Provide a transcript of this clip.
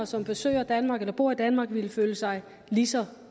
som besøger danmark eller bor i danmark ville føle sig lige så